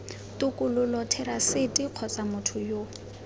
tokololo therasete kgotsa motho yo